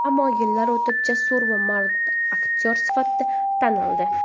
Ammo yillar o‘tib, jasur va mard aktyor sifatida tanildi.